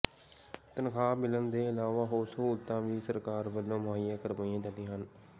ਤਨਖਾਹ ਮਿਲਣ ਦੇ ਇਲਾਵਾ ਹੋਰ ਸਹੂਲਤਾਂ ਵੀ ਸਰਕਾਰ ਵੱਲੋਂ ਮੁਹੱਈਆ ਕਰਵਾਈਆਂ ਜਾਂਦੀਆਂ ਹਨ